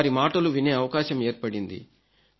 వారి మాటలు వినే అవకాశం ఏర్పడింది